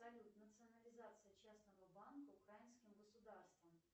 салют национализация частного банка украинским государством